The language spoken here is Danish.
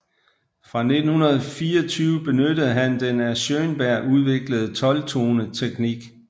Fra 1924 benyttede han den af Schönberg udviklede tolvtoneteknik